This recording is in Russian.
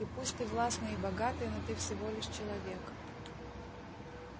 и пусть ты властный и богатый но ты всего лишь человек